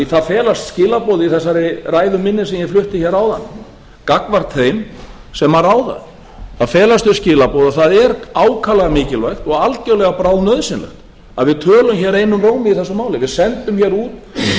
það felast skilaboð í þessari ræðu minni sem ég flutti hér áðan gagnvart þeim sem ráða það felast þau skilaboð að það er ákaflega mikilvægt og algerlega bráðnauðsynlegt að við tölum hér einum rómi í þessu máli við sendum hér út þau skilaboð sem við